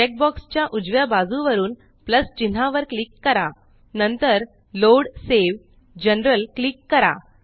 check boxes च्या उजव्या बाजू वरून प्लस चिन्हावर क्लिक करा नंतर loadसावे जनरल जीटीजीटी क्लिक करा